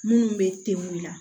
Minnu bɛ ten la